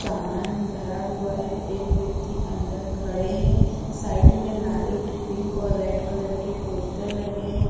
सामान भरा हुआ है एक व्यक्ति अंदर खड़े है साईड में लाईट पिंक और रेड कलर के पोस्टर लगे हुए है।